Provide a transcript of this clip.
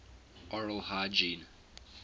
oral hygiene